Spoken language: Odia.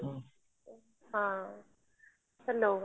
ହଁ hello